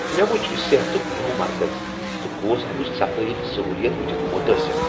مےٚ وچھ صحتک نوٚو مرکز تہٕ گوس امچ صفٲیی تہٕ سہولیات وٕچھتھ متٲثر۔